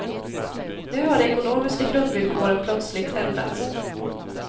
Nu har de ekonomiska grundvillkoren plötsligt ändrats.